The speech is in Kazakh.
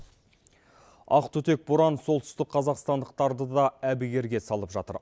ақ түтек боран солтүстік қазақстандықтарды да әбігерге салып жатыр